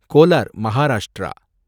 Kolar, Maharashtra